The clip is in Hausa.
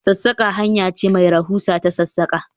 Sassaka hanya ce mai rahusa ta sassaka